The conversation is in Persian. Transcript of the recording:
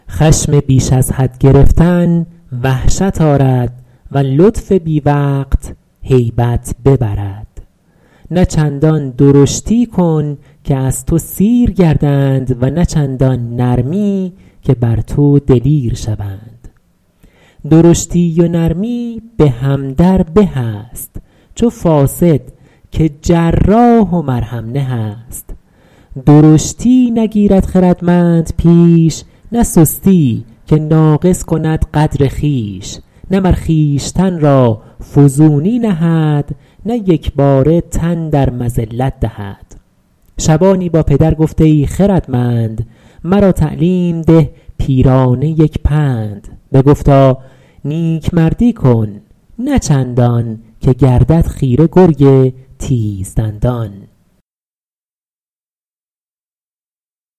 خشم بیش از حد گرفتن وحشت آرد و لطف بی وقت هیبت ببرد نه چندان درشتی کن که از تو سیر گردند و نه چندان نرمی که بر تو دلیر شوند درشتی و نرمی به هم در به است چو فاصد که جراح و مرهم نه است درشتی نگیرد خردمند پیش نه سستی که ناقص کند قدر خویش نه مر خویشتن را فزونی نهد نه یکباره تن در مذلت دهد شبانی با پدر گفت ای خردمند مرا تعلیم ده پیرانه یک پند بگفتا نیکمردی کن نه چندان که گردد خیره گرگ تیز دندان